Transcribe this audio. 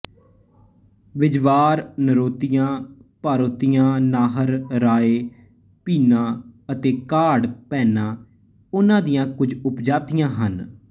ਬਿਝਵਾਰ ਨਰੋੋਤੀਆ ਭਾਰੋਤੀਆ ਨਾਹਰ ਰਾਏ ਭੀਨਾ ਅਤੇ ਕਾਢ ਭੈਨਾ ਉਹਨਾਂ ਦੀਆਂ ਕੁਝ ਉਪਜਾਤੀਆਂ ਹਨ